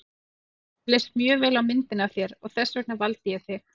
Mér leist mjög vel á myndina af þér og þess vegna valdi ég þig.